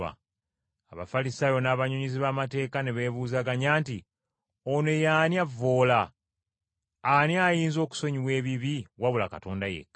Abafalisaayo n’abannyonnyozi b’amateeka ne beebuuzaganya nti, “Ono ye ani avvoola! Ani ayinza okusonyiwa ebibi wabula Katonda yekka?”